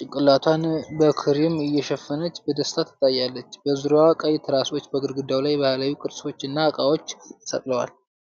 ጭንቅላቷን በክሪም እየሸፈነች በደስታ ትታያለች። በዙሪያዋ ቀይ ትራሶች፣ በግድግዳው ላይ ባህላዊ ቅርጾች እና ዕቃዎች ተሰቅለዋል።